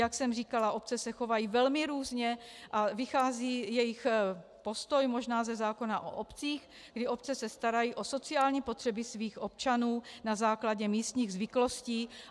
Jak jsem říkala, obce se chovají velmi různě a vychází jejich postoj možná ze zákona o obcích, kdy obce se starají o sociální potřeby svých občanů na základě místních zvyklostí.